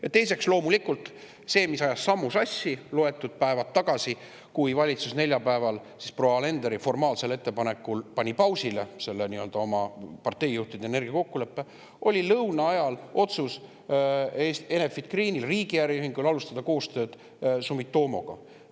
Ja veel loomulikult ajas loetud päevad tagasi sammu sassi see, et kui valitsus neljapäeval proua Alenderi formaalsel ettepanekul pani selle nii-öelda parteijuhtide energiakokkulepe pausile, oli Enefit Green, riigi äriühing, lõuna ajal teinud otsuse alustada koostööd Sumitomoga.